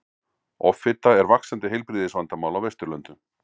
offita er vaxandi heilbrigðisvandamál á vesturlöndum